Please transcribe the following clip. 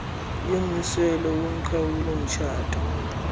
yommiselo woqhawulo mitshato